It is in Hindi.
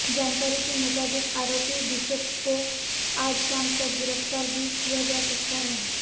जानकारी के मुताबिक आरोपी बिशप को आज शाम तक गिरफ्तार भी किया जा सकता है